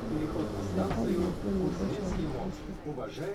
thaka imwe cĩa nyĩmbo cĩa gĩkristu